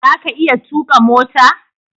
zaka iya tuƙa mota?